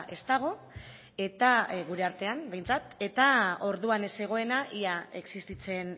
ez dago eta gure artean behintzat eta orduan ez zegoena ia existitzen